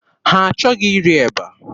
Ha achọghị iri eba.